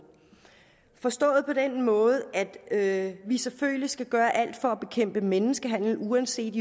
forstået på den måde at vi selvfølgelig skal gøre alt for at bekæmpe menneskehandel uanset